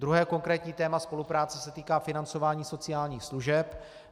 Druhé konkrétní téma spolupráce se týká financování sociálních služeb.